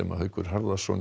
Haukur Harðarson